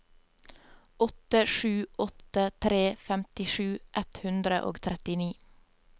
åtte sju åtte tre femtisju ett hundre og trettini